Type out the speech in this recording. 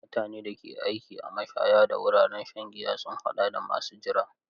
Mutanen da ke aiki a mashaya da wuraren shan giya sun haɗa da masu jira.